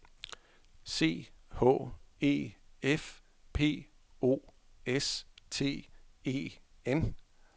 C H E F P O S T E N